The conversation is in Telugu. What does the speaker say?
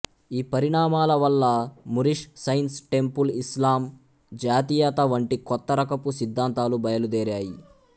ఈ పరిణామాల వల్ల మూరిష్ సైన్స్ టెంపుల్ ఇస్లామ్ జాతీయత వంటి కొత్త రకపు సిద్ధాంతాలు బయలుదేరాయి